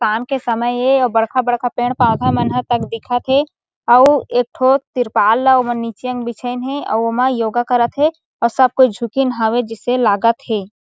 शाम के समय एऔर बड़का बड़का पेड़-पौधा मन हा तक दिखत हे अउ एकठो त्रिपाल ल ओमन नीचे बिछेन है अउ ओमा योगा करत हे और सब कोई झुकिन हवे जिसे लागत हे।